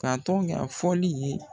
Ka tɔn kɛ a fɔli ye.